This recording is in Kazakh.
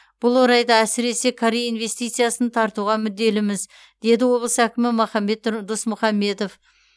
бұл орайда әсіресе корей инвестициясын тартуға мүдделіміз деді облыс әкімі махамбет досмұхамбетов